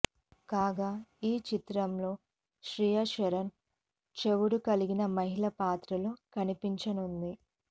కాగా ఈ చిత్రంలో శ్రియ శరణ్ చెవుడు కలిగిన మహిళ పాత్రలో కనిపించనుంది